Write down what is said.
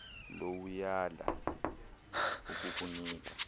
low uyala ukukunika